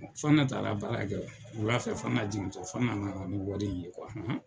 Fana taara baara kɛ wula fɛ Fana jigintɔ Fana nana ni wari in ye han.